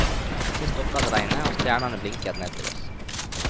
Så stoppet regnet, og stjernene blinket ned til oss.